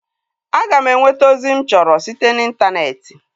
A ga m enweta ozi mụ chọrọ site na intaneeti